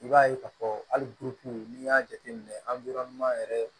I b'a ye k'a fɔ hali n'i y'a jateminɛ an bɛ yɔrɔ min yɛrɛ